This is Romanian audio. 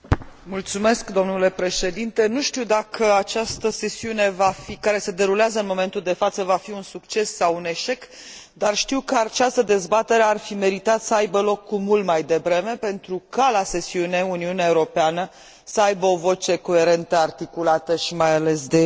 Nu știu dacă această sesiune care se derulează în momentul de față va fi un succes sau un eșec, dar știu că această dezbatere ar fi meritat să aibă loc cu mult mai devreme, pentru ca, la sesiune, Uniunea Europeană să aibă o voce coerentă, articulată și, mai ales, de eficiență.